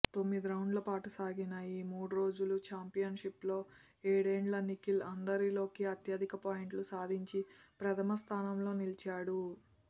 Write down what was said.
తొమ్మిదిరౌండ్ల పాటు సాగిన ఈ మూడురోజుల చాంపియన్షిప్లో ఏడేండ్ల నిఖిల్ అందరిలోకి అత్యధిక పాయింట్లు సాధించి ప్రథమస్థానంలో నిలిచాడు